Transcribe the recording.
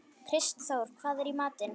Kristþór, hvað er í matinn?